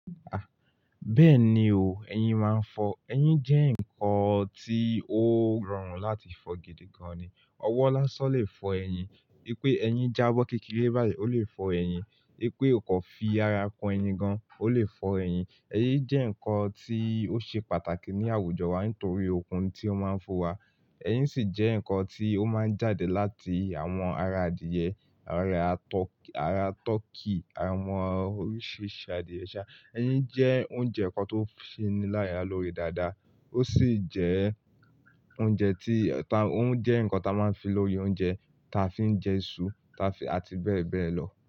Bẹ́ẹ̀ni o, ẹyin máa ń fọ́. Ẹyin jẹ́ nǹkan tí ó rọrùn láti fọ̀ gidi gan-an ni. Ọwọ́ lásán lè fọ ẹyin. E pé ẹyin jábọ́ kékeré báyìí, ó lè fọ ẹyin. E pé o kò fi ara kọ ẹyin gan, ó lè fọ ẹyin. Ẹyin jẹ́ nǹkan tí ó ṣe pàtàkì ní àwùjọ wa nítorí okun tí ó máa ń fún wa. Ẹyin sì jẹ́ nǹkan tí ó máa ń jáde láti àwọn ara adìyẹ, ara turkey, àwọn oríṣiríṣi adìyẹ sá. Ẹyin jẹ́ oúnjẹ kan tó ṣe ní lára lóre dáadáa. Ó sì jẹ́ oúnjẹ tí-- ó ń jẹ́ nǹkan tí a máa ń fi lori oúnjẹ, ta fi ń jẹ iṣu, ta fi-- àti bẹ́ẹ̀ bẹ́ẹ̀ lọ.